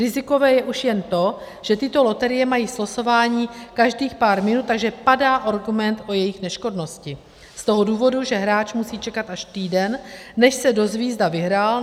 Rizikové je už jen to, že tyto loterie mají slosování každých pár minut, takže padá argument o jejich neškodnosti z toho důvodu, že hráč musí čekat až týden, než se dozví, zda vyhrál.